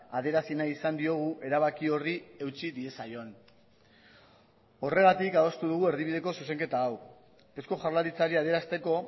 adierazi nahi izan diogu erabaki horri eutsi diezaion horregatik adostu dugu erdibideko zuzenketa hau eusko jaurlaritzari adierazteko